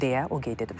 deyə o qeyd edib.